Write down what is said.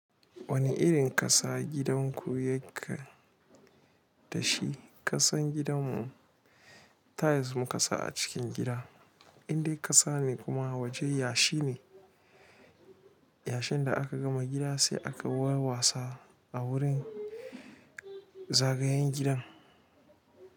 Wani irin ƙasa gidanku yake da shi? Ƙasan gidanmu tiles muka sa a cikin gida, indai ƙasa ne kuma waje yashi ne. Yashin da aka gama gida sai aka yi warwatsa a wurin zagayen gidan.